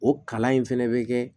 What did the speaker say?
O kalan in fɛnɛ bɛ kɛ